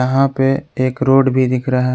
यहां पे एक रोड भी दिख रहा है।